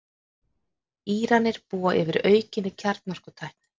Íranar búa yfir aukinni kjarnorkutækni